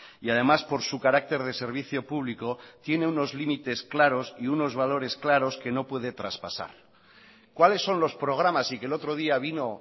y además por su carácter de servicio público tiene unos límites claros y unos valores claros que no puede traspasar cuáles son los programas y que el otro día vino